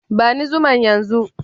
Bani zuman yan zu.